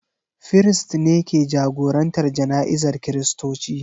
Firist ne ke jagorantar jana'izar Kiristoci.